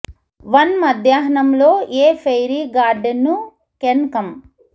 one మధ్యాహ్నం లో a fairy garden ను కెన్ కం